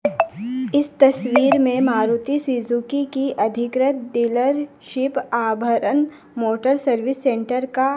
इस तस्वीर में मारुति सीजुकी की अधिगृत dealership Abharan motor service centre का--